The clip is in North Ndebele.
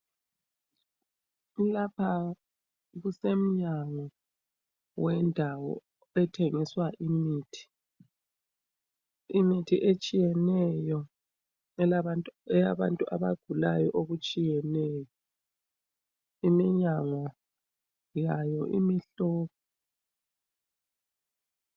Lapha kusemnyango wendawo ethengisa imithi, imithi etshiyeneyo eyabantu abagulayo okutshiyeneyo, iminyango yawo imihlophe